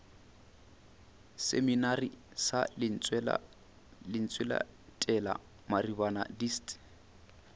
seminari sa lentsweletala maribana dist